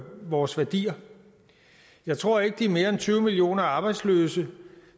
vores værdier jeg tror ikke de mere end tyve millioner arbejdsløse